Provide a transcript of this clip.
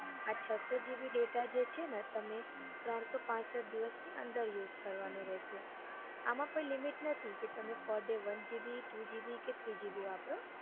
હમ આ છસો gb data જે છે ને તમે ત્રણસો પાંસઠ દિવસની અંદર યુજ કરવાનો રેસે આમાં કોઈ limit નથી તમે per day one gb two gb કે three gb વાપરો